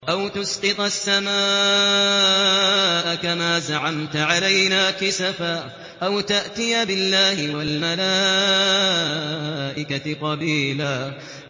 أَوْ تُسْقِطَ السَّمَاءَ كَمَا زَعَمْتَ عَلَيْنَا كِسَفًا أَوْ تَأْتِيَ بِاللَّهِ وَالْمَلَائِكَةِ قَبِيلًا